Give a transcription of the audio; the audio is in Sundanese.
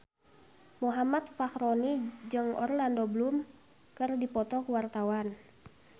Muhammad Fachroni jeung Orlando Bloom keur dipoto ku wartawan